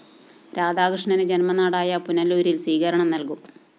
രാധാകൃഷ്ണന് ജന്മനാടായ പുനലൂരില്‍ സ്വീകരണം നല്‍കും